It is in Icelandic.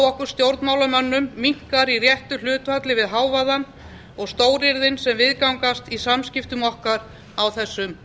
á okkur stjórnmálamönnum minnkar í réttu hlutfalli við hávaðann og stóryrðin sem viðgangast í samskiptum okkar á þessum